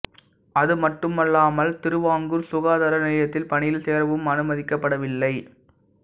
அது மட்டுமல்லாமல் திருவாங்கூர் சுகாதார நிலையத்தில் பணியில் சேரவும் அனுமதிக்கப் படவில்லை